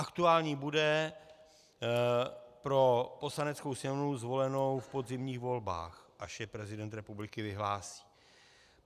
Aktuální bude pro Poslaneckou sněmovnu zvolenou v podzimních volbách, až je prezident republiky vyhlásí.